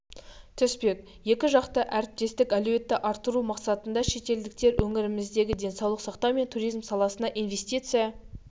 түспек екі жақты әріптестік әлеуетті арттыру мақсатында шетелдіктер өңіріміздегі денсаулық сақтау мен туризм саласына инвестиция